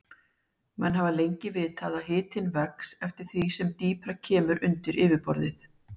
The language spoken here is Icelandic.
Menn hafa lengi vitað að hitinn vex eftir því sem dýpra kemur undir yfirborðið.